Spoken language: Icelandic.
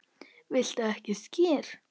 Viltu ekki skyr?